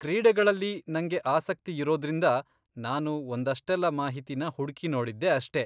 ಕ್ರೀಡೆಗಳಲ್ಲಿ ನಂಗೆ ಆಸಕ್ತಿಯಿರೋದ್ರಿಂದ ನಾನು ಒಂದಷ್ಟೆಲ್ಲ ಮಾಹಿತಿನ ಹುಡ್ಕಿ ನೋಡಿದ್ದೆ ಅಷ್ಟೇ.